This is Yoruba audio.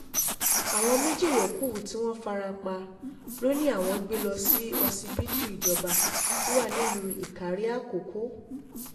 àwọn méjì yòókù tí wọ́n fara pa lọ ni àwọn gbé lọ sí ọsibítù ìjọba tó wà nílùú ìkàrẹ̀ àkọ́kọ́